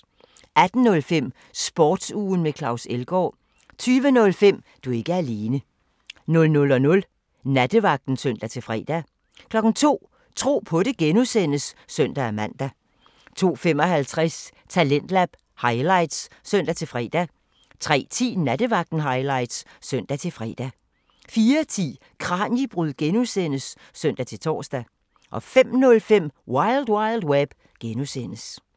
18:05: Sportsugen med Claus Elgaard 20:05: Du er ikke alene 00:00: Nattevagten (søn-fre) 02:00: Tro på det (G) (søn-man) 02:55: Talentlab highlights (søn-fre) 03:10: Nattevagten highlights (søn-fre) 04:10: Kraniebrud (G) (søn-tor) 05:05: Wild Wild Web (G)